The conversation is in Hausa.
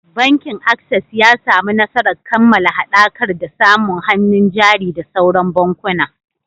Bankin Access ya samu nasarar kammala haɗakar da samu hannun jari da sauran bankuna.